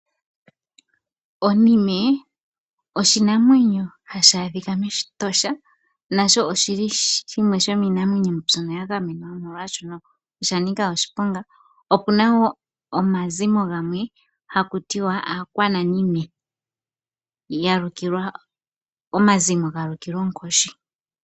Onime oshinamwenyo hashi adhika mEtosha nasho oshili shimwe shomiinamwenyo mbyono yagamenwa oshoka oshanika oshiponga. Opuna woo omazimo gamwe haku tiwa aakwananime omazimo galukilwa oonkoshi.